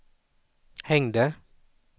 hängde